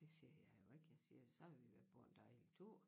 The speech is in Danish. Det siger jeg jo ikke jeg siger så har vi været på en dejlig tur